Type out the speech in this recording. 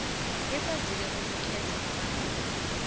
ikwazile ukukhetha amagama